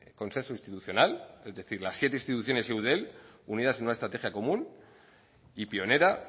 consenso institucional es decir las siete instituciones y eudel unidas en una estrategia común y pionera